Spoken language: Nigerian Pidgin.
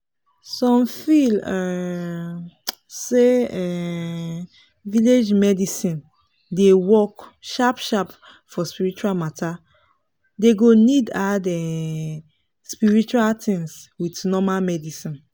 some feel um say um village medicine dey work sharp sharp for spiritual matter dey go need add um spiritual things with normal medicine